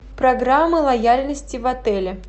программы лояльности в отеле